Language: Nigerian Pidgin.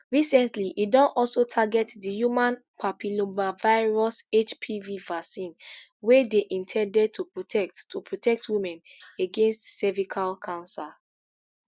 recently e don also target di human papillomavirus hpv vaccine wey dey in ten ded to protect to protect women against cervical cancer